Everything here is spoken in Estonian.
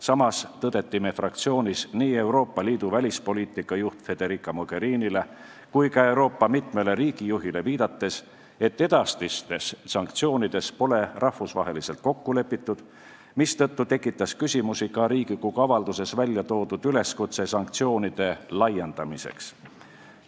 Samas tõdeti meie fraktsioonis nii Euroopa Liidu välispoliitika juhile Federica Mogherinile kui ka mitmele Euroopa riigijuhile viidates, et edasistes sanktsioonides pole rahvusvaheliselt kokku lepitud, mistõttu tekitas küsimusi ka Riigikogu avalduses väljatoodud üleskutse sanktsioonide laiendamiseks.